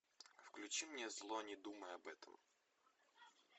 включи мне зло не думай об этом